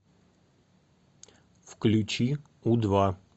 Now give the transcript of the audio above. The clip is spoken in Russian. включи у два